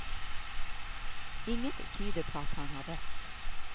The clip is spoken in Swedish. Inget tyder på att han har rätt.